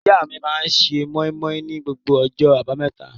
Ìyá mi máa ń se móímóí ni gbogbo ọjọ́ àbámẹ́ta.